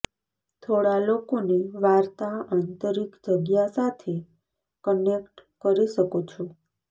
થોડા લોકોને વાર્તા આંતરીક જગ્યા સાથે કનેક્ટ કરી શકો છો